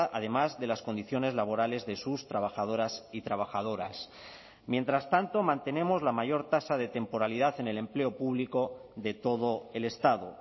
además de las condiciones laborales de sus trabajadoras y trabajadoras mientras tanto mantenemos la mayor tasa de temporalidad en el empleo público de todo el estado